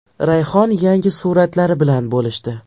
Rayhon yangi suratlari bilan bo‘lishdi.